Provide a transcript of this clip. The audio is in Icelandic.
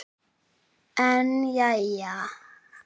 En jæja.